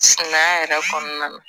Sumaya yɛrɛ kɔnɔna na